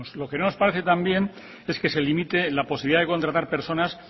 lo que no nos parece tan bien es que se limite la posibilidad de contratar personas